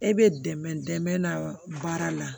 E bɛ dɛmɛ dɛmɛ baara la